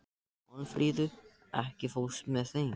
Málfríður, ekki fórstu með þeim?